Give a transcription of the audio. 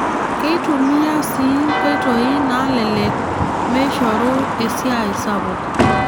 Keitumiya sii nkoitoi naalelek meishoru esiaai sapuk.